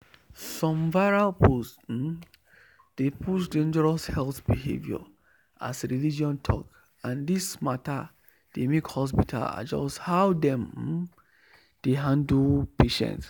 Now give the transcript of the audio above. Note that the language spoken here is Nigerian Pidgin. some viral post um dey push dangerous health behavior as religion talk and this mata dey make hospital adjust how dem um dey handle patients.